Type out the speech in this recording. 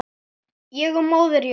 Ég og Móðir jörð.